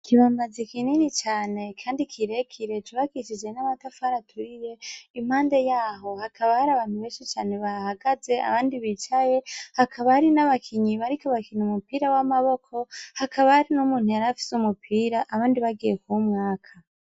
Ikibambazi kinini cane Kandi cubakishije namatafari aturiye , impande yaho hakaba abantu benshi cane bahagaze abandi bicaye Hakaba hari nabakinyi bariko barakina umupira wamaboko , Hakaba hari numuntu yari afise umupira abandi bagiye kwumwaka.